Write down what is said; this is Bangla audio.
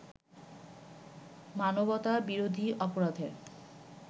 মানবতা বিরোধী অপরাধের